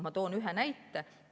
Ma toon ühe näite.